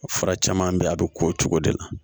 Fura caman bɛ yen a bɛ ko o cogo de la